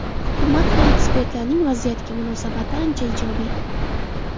Hukumat va ekspertlarning vaziyatga munosabati ancha ijobiy.